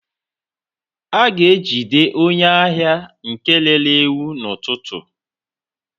a ga-ejide onye ahia nke rere ewu n'ututu